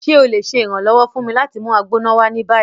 Ṣe o le ṣe iranlọwọ fun mi lati mu Agbona wa ni bayi?